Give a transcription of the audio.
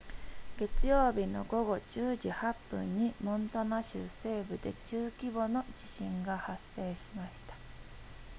月曜日の午後10時8分にモンタナ州西部で中規模の地震が発生しました